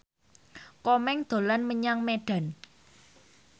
Komeng dolan menyang Medan